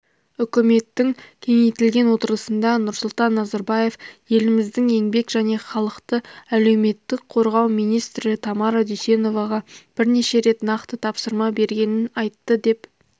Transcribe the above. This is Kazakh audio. үкіметтің кеңейтілген отырысында нұрсұлтан назарбаев еліміздің еңбек және халықты әлеуметтік қорғау министрі тамара дүйсеноваға бірнеше рет нақты тапсырма бергенін айтты деп